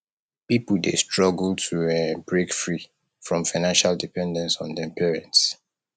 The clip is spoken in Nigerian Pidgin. pipo dey struggle to um break free from financial dependence on dem parents